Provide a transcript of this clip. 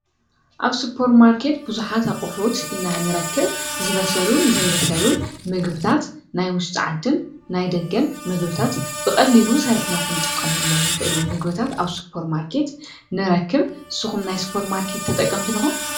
ኣብ ስፖር ማርከት ብዙኃት ኣቝሑት ኢና ንረክብ ዝበሰሉን ዘይበሰሉን ምግብታት ናይ ውስፅዓድን ናይ ደገን ምግብታት ብቐድሊሉ ሰሪሕና ኽንጥቆምሎም ንኽእሉ ምግብታት ኣብ ሱጶር ማርከት ንትጠቀምቲ ዲኹም?